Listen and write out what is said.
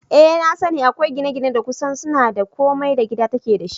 Eh nasani, akwai gine-gine da kusan suna da komai da gida take dashi